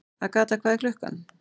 Agatha, hvað er klukkan?